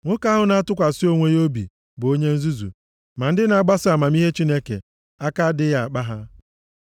Nwoke ahụ na-atụkwasị onwe ya obi bụ onye nzuzu! Ma ndị na-agbaso amamihe Chineke, aka adịghị akpa ha.